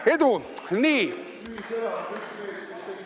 Edu!